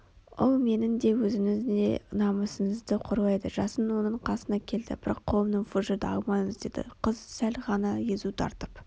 ол менің де өзіңіздің де намысыңызды қорлайды жасын оның қасына келді бірақ қолымнан фужерді алмаңыз деді қыз сәл ғана езу тартып